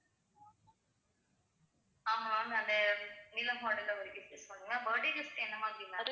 அஹ் ma'am அந்த நிலா model ல ஒரு gift சொன்னிங்க birthday gift என்ன மாதிரி ma'am